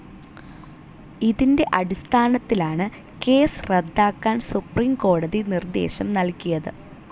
ഇതിൻ്റെ അടിസ്ഥാനത്തിലാണ് കേസ്സ് റദ്ദാക്കാൻ സുപ്രീം കോടതി നിർദ്ദേശം നൽകിയത്.